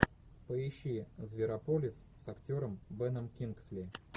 поищи зверополис с актером беном кингсли